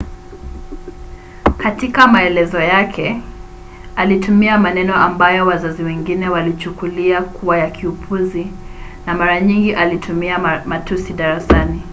katika maelezo yake alitumia maneno ambayo wazazi wengine walichukulia kuwa ya kiupuzi na mara nyingi alitumia matusi darasani